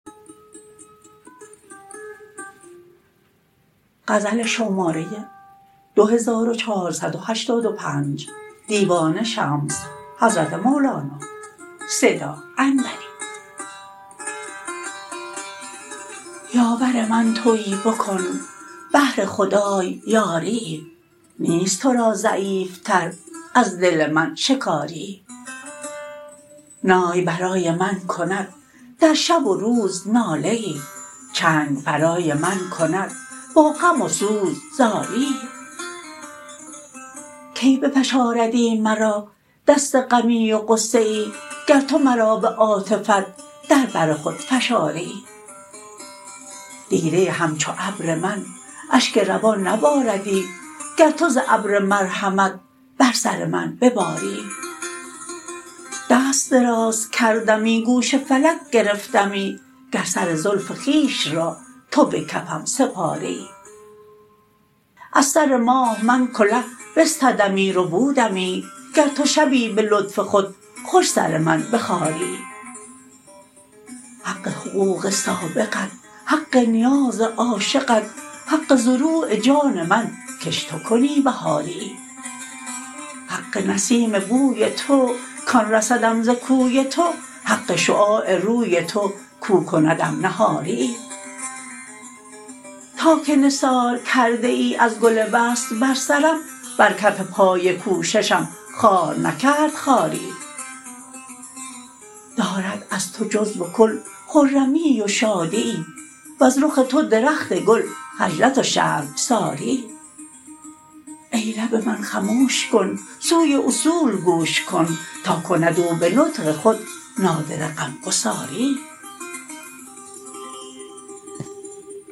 یاور من توی بکن بهر خدای یاریی نیست تو را ضعیف تر از دل من شکاریی نای برای من کند در شب و روز ناله ای چنگ برای من کند با غم و سوز زاریی کی بفشاردی مرا دست غمی و غصه ای گر تو مرا به عاطفت در بر خود فشاریی دیده همچو ابر من اشک روان نباردی گر تو ز ابر مرحمت بر سر من بباریی دست دراز کردمی گوش فلک گرفتمی گر سر زلف خویش را تو به کفم سپاریی از سر ماه من کله بستدمی ربودمی گر تو شبی به لطف خود خوش سر من بخاریی حق حقوق سابقت حق نیاز عاشقت حق زروع جان من کش تو کنی بهاریی حق نسیم بوی تو کان رسدم ز کوی تو حق شعاع روی تو کو کندم نهاریی تا که نثار کرده ای از گل وصل بر سرم بر کف پای کوششم خار نکرد خاریی دارد از تو جزو و کل خرمیی و شادیی وز رخ تو درخت گل خجلت و شرمساریی ای لب من خموش کن سوی اصول گوش کن تا کند او به نطق خود نادره غمگساریی